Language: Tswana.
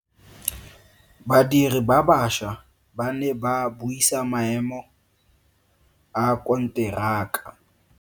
Badiri ba baša ba ne ba buisa maemo a konteraka.